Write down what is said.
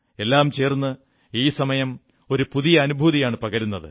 എല്ലാം ചേർന്ന് ഈ സമയം ഒരു പുതിയ അനുഭൂതിയാണു പകരുന്നത്